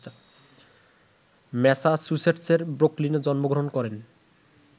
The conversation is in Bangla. ম্যাসাচুসেটসের ব্রুকলিনে জন্মগ্রহণ করেন